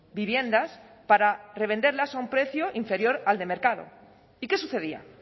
viviendas para revenderlas a un precio inferior al de mercado y qué sucedía